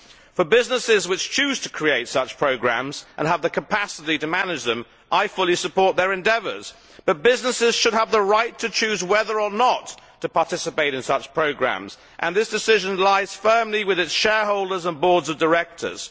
For businesses which choose to create such programmes and have the capacity to manage them, I fully support their endeavours, but businesses should have the right to choose whether or not to participate in such programmes and this decision lies firmly with its shareholders and boards of directors.